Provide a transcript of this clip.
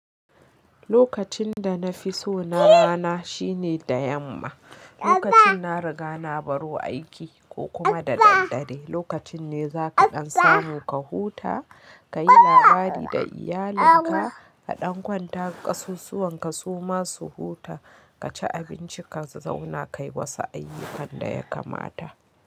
Lokacin da na fi so na rana shine da yamma. Lokacin na riga na baro aiki ko kuma da dare. Lokacin ne za ka ɗan samu ka huta, ka yi labari da iyalinka, ka ɗan kwanta, kasusuwan ka suma su huta, ka ci abinci, ka zauna kayi wasu ayyukan da ya kamata.